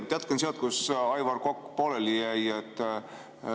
Ma jätkan sealt, kus Aivar Kokk pooleli jäi.